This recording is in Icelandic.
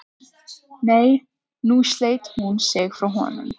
Nei, nú sleit hún sig frá honum.